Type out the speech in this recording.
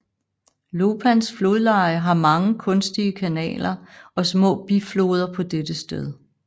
Lopans flodleje har mange kunstige kanaler og små bifloder på dette sted